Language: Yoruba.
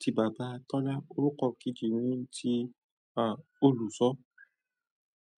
ti bàbá Tọ́lá, òrúkọ kejì ni ti, à, olùṣọ.